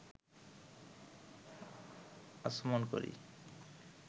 আচমন করি